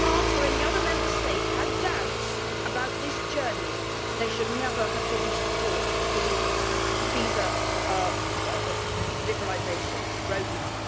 If France or any other Member State had doubts about this journey, they should never have given support to the visa liberalisation road map.